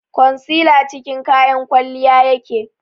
concealer cikin kayan kwalliya yake